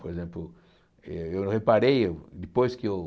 Por exemplo, eu eu reparei, depois que eu...